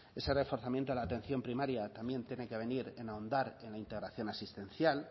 ese reforzamiento de la atención primaria también tiene que venir en ahondar en la integración asistencial